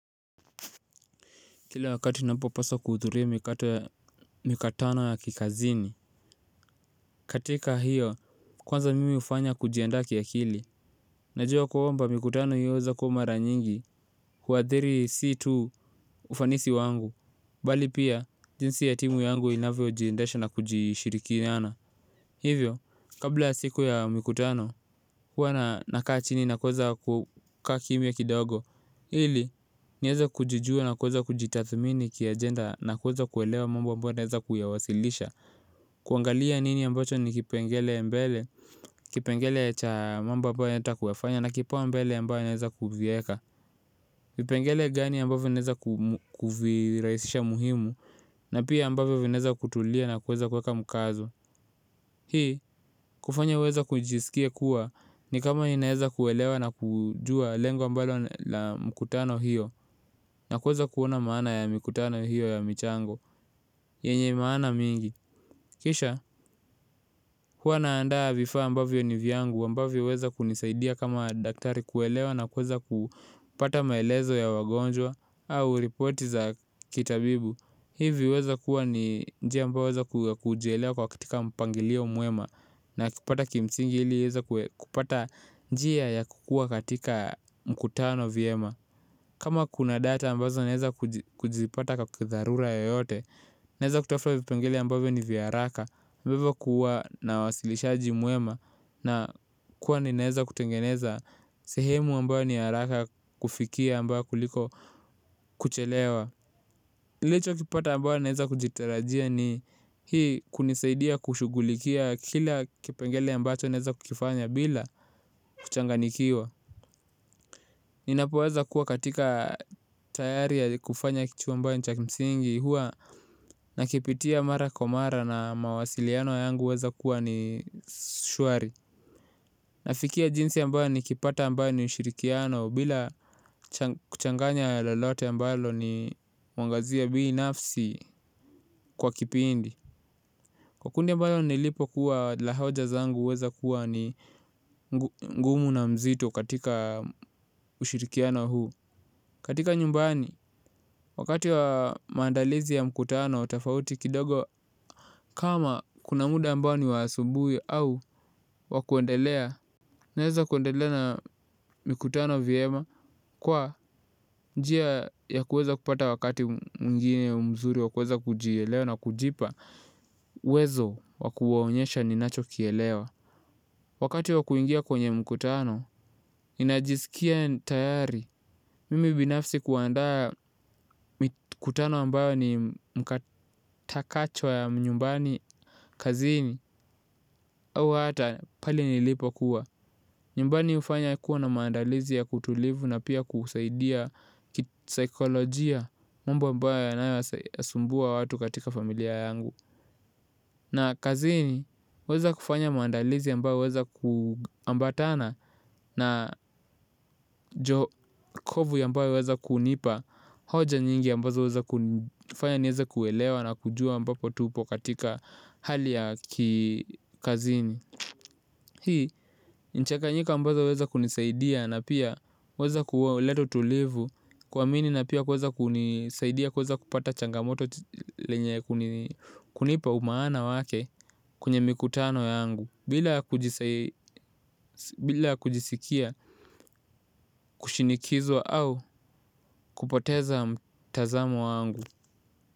Kila wakati ninapo paswa kuhudhuria mikutano ya kikazini katika hiyo, kwanza mimi hufanya kujiandaa kiakili. Najuwa kwamba mikutano hii huweza kuwa mara nyingi huathiri si tu ufanisi wangu bali pia jinsi huwa nakaa chini na kuweza kukaa kimya kidogo ili, nieze kujijua na kuweza kujitathmini kia agenda na kuweza kuelewa mambo ambayo naeza kuyawasilisha kuangalia nini ambacho ni kipengele mbele, kipengele cha mambo ambayo natakiwa kuyafanya na kipaumbele ambayo naeza kuvieka vipengele gani ambavyo naeza kuvirahisisha muhimu na pia ambavyo naeza kutulia na kuweza kueka mkazo hii, kufanya huweza kujisikia kuwa ni kama naeza kuelewa na kujua lengo ambalo la mkutano hiyo na kuweza kuona maana ya mikutano hiyo ya michango yenye maana mingi, kishal hua naandaa vifaa ambavyo ni vyangu ambavyo huweza kunisaidia kama daktari kuelewa na kuweza kupata maelezo ya wagonjwa au report za kitabibu hivi huweza kuwa ni njia ambayo huweza kujielewa kwa katika mpangilio mwema na kupata kimsingi hili nieze kupata njia ya kukua katika mkutano vyema kama kuna data ambazo naeza kujipata kwa kitharura yoyote, naeza kutafuta vipengele ambayo ni vya haraka, ambayo kuwa na wasilishaji muema na kuwa ni naeza kutengeneza sehemu ambayo ni haraka kufikia ambayo kuliko kuchelewa. Licho kipata ambayo naeza kujitarajia ni hii kunisaidia kushugulikia kila kipengele ambayo naeza kufanya bila kuchanganikiwa. Ninapoweza kuwa katika tayari ya kufanya kitu ambacho ni cha kimsingi hua nakipitia mara kwa mara na mawasiliano yangu huweza kuwa ni shuari. Nafikia jinsi ambayo nikipata ambayo ni ushirikiano bila kuchanganya lolote ambalo ni huangazia bii nafsi kwa kipindi kwa kundi mbalo nilipo kuwa la hoja zangu weza kuwa ni ngumu na mzito katika ushirikiano huu, katika nyumbani wakati wa maandalizi ya mkutano, tofauti kidogo kama kuna muda ambao ni wa asubuhi au wa kuendelea. Naweza kuendelea na mkutano vyema kwa njia ya kuweza kupata wakati mwingine mzuri, wa kuweza kujielewa na kujipa, uwezo wa kuwaonyesha ninacho kielewa. Wakati wa kuingia kwenye mkutano, ninajisikia tayari. Mimi binafsi kuandaa mkutano ambao ni mkatakachwa ya mnyumbani kazini au hata pali nilipo kuwa. Nyumbani hufanya kuwa na maandalizi ya kutulivu na pia kusaidia kitsykolojia mwomba ambayo asumbua watu katika familia yangu. Na kazini, huweza kufanya maandalizi ambayo huweza kuambatana na jokovu yambawe weza kunipa hoja nyingi yambawe weza kufanya nyeza kuelewa na kujua ambapo tupo katika hali ya kikazini hii, nchaka njia ambazo weza kunisaidia na pia weza kuwa leto tulivu kwa mini na pia weza kunisaidia kwa weza kupata changamoto lenye kunipa maana wake kunye mikutano yangu bila kujisikia kushinikizwa au kupoteza mtazamo yangu.